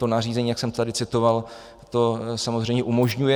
To nařízení, jak jsem tady citoval, to samozřejmě umožňuje.